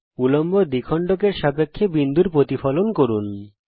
উল্লম্ব দ্বিখণ্ডক এর সাপেক্ষে বিন্দুর প্রতিফলন করুন